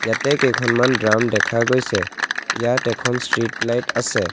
ইয়াতে কেইখনমান ড্ৰাম দেখা গৈছে ইয়াত এখন ষ্ট্ৰিট লাইট আছে।